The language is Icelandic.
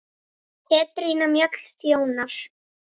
Petrína Mjöll þjónar.